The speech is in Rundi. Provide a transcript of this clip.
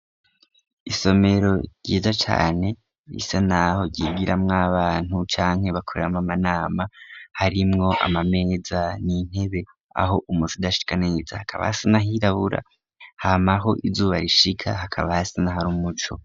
Isomero ryiza cane risa naho ryigiramw'abana canke bakoreramw'amanama harimwo amameza n'intebe aho umuc'udashika neza hakaba hasa nk'ahirabura hama aho izuba rishika hakaba hasa nahar'umuco.